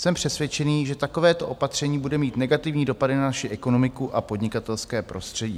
Jsem přesvědčen, že takovéto opatření bude mít negativní dopady na naši ekonomiku a podnikatelské prostředí.